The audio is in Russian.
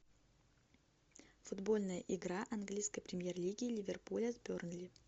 футбольная игра английской премьер лиги ливерпуля с бернли